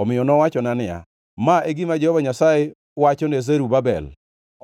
Omiyo nowachona niya, “Ma e gima Jehova Nyasaye wacho ne Zerubabel: